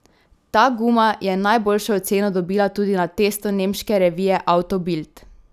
Ta guma je najboljšo oceno dobila tudi na testu nemške revije Auto Bild.